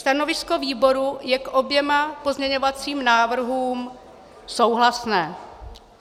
Stanovisko výboru je k oběma pozměňovacím návrhům souhlasné.